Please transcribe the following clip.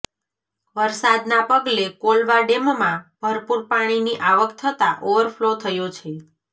વરસાદના પગલે કોલવા ડેમમાં ભરપૂર પાણીની આવક થતાં ઓવરફલો થયો છે